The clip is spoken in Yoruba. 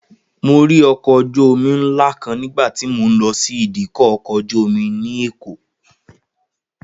Mo rí ọkọ̀ ojú-omi ńlá kan nígbà tí mo lọ sí ìdíkọ̀ ọkọ̀ ojú-omi ní Èkó